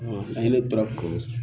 An ye ne tora ko